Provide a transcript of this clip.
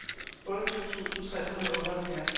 otteogtyve tusind tre hundrede og otteoghalvfjerds